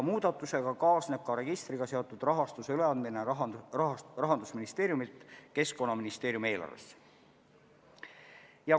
Muudatusega kaasneb ka registriga seotud raha suunamine Rahandusministeeriumi eelarvest Keskkonnaministeeriumi eelarvesse.